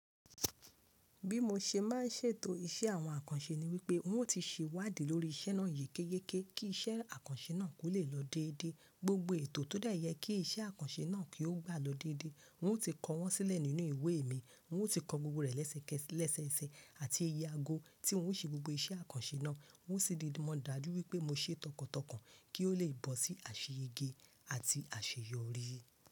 Bí mo ṣe má n ṣètò iṣẹ́ àwọn àkànṣe ni wípé n ó ti ṣewádìí lórí ìṣe náà yékéyéké kí iṣẹ́ àkànṣe náà kó lè lọ dédé. Gbogbo ètò tó dá yẹ kí iṣẹ́ àkànṣe náà kí ó gbà ló dédé. N ó ti kọ wọ́n sílẹ̀ nínú ìwé mi, n ó ti kọ gbogbo rẹ̀ lẹ́sẹkẹsẹ leseese àti iye ago tí n ó ṣe gbogbo iṣẹ́ àkànṣe náà. N ó sì didi mọ dájú wípé mo ṣe é tọkàntọkàn kí ó lè bọ́ sí àṣeyẹgé àti àṣeyọrí.